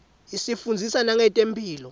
isifundzisa nangetemphilo